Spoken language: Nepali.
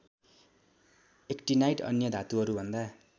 ऐक्टिनाइड अन्य धातुहरूभन्दा